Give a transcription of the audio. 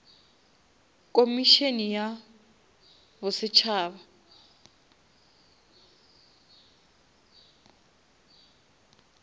komišene ya bosetšhaba